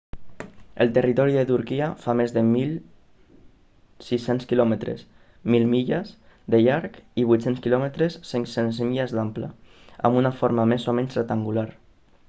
el territori de turquia fa més de 1.600 quilòmetres 1.000 milles de llarg i 800 km 500 milles d'ample amb una forma més o menys rectangular